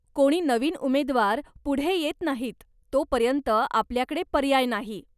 कोणी नवीन उमेद्वार पुढे येत नाहीत, तोपर्यंत आपल्याकडे पर्याय नाही.